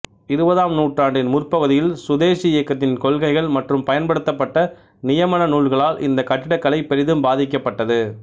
இருபதாம் நூற்றாண்டின் முற்பகுதியில் சுதேசி இயக்கத்தின் கொள்கைகள் மற்றும் பயன்படுத்தப்பட்ட நியமன நூல்களால் இந்த கட்டிடக்கலை பெரிதும் பாதிக்கப்பட்டது